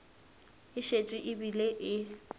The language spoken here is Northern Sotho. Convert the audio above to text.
e šetše e bile e